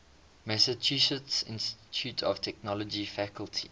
massachusetts institute of technology faculty